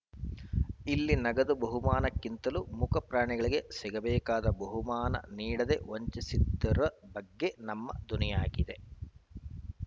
ಇಲ್ಲಿ ನಗದು ಬಹುಮಾನಕ್ಕಿಂತಲೂ ಮೂಕ ಪ್ರಾಣಿಗಳಿಗೆ ಸಿಗಬೇಕಾದ ಬಹುಮಾನ ನೀಡದೇ ವಂಚಿಸಿದ್ದರ ಬಗ್ಗೆ ನಮ್ಮ ಧ್ವನಿಯಾಗಿದೆ